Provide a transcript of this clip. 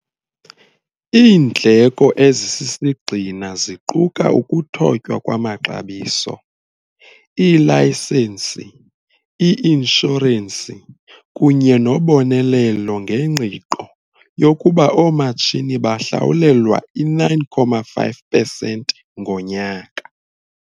Iindleko ezisisigxina ziquka ukuthotywa kwamaxabiso, iilayisensi, i-inshorensi kunye nobonelelo ngengqiqo yokuba oomatshini bahlawulelwa i 9,5 percent ngonyaka.